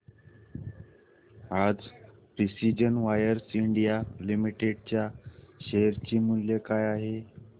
आज precision wires India limited च्या share चे मूल्य काय आहे